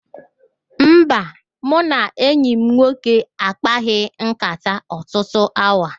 Mba, mụ na enyi m nwoke a kpaghị nkàtá ọtụtụ awa